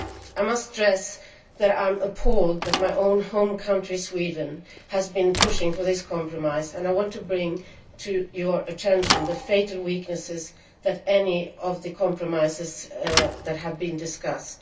I must stress that I am appalled that my own home country, Sweden, has been pushing for this compromise, and I want to bring to your attention the fatal weaknesses of any of the compromises that have been discussed.